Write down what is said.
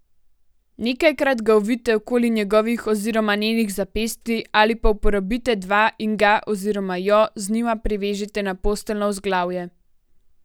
Nekajkrat ga ovijte okoli njegovih oziroma njenih zapestij ali pa uporabite dva in ga oziroma jo z njima privežite na posteljno vzglavje.